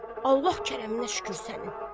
Vay, Allah kərəminə şükür sənin.